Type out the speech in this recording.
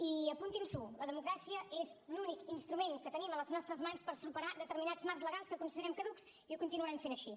i apuntin s’ho la democràcia és l’únic instrument que tenim a les nostres mans per superar determinats marcs legals que considerem caducs i ho continuarem fent així